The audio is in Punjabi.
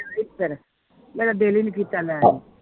ਫਿਰ ਮੇਰਾ ਦਿਲ ਹੀ ਨੀ ਕੀਤਾ ਲੈਣ ਨੂੰ